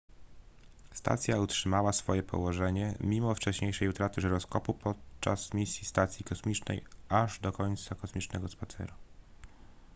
stacja utrzymała swoje położenie mimo wcześniejszej utraty żyroskopu podczas misji stacji kosmicznej aż do końca kosmicznego spaceru